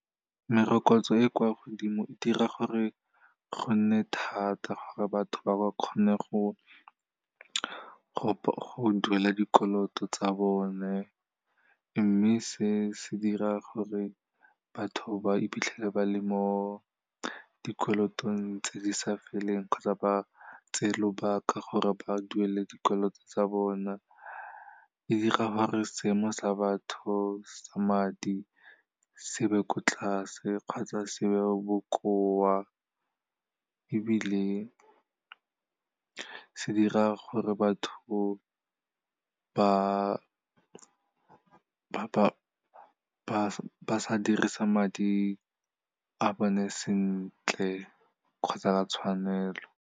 Merokotso e kwa godimo e dira gore go nne thata gore batho ba ba kgone go duela dikoloto tsa bone, mme se se dira gore batho ba iphitlhele ba le mo dikolotong tse di sa feleng kgotsa ba tseye lobaka gore ba duele dikoloto tsa bona. Di dira gore seemo sa batho sa madi se be ko tlase kgotsa se be bokoa, ebile se dira gore batho ba sa dirisa madi a bone sentle kgotsa ka tshwanelo.